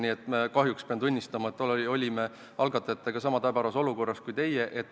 Nii et kahjuks pean tunnistama, et olime algatajatega sama täbaras olukorras kui teie.